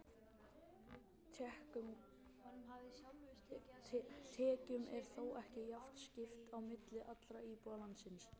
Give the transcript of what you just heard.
Tekjum er þó ekki jafnt skipt á milli allra íbúa landsins.